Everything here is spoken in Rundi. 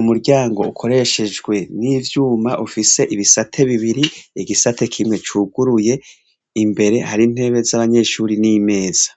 umuryango ukoreshejwe n'ivyuma ufise ibisate bibiri igisate kimwe cuguruye, imbere hari ntebe z'abanyeshuri n'imeza.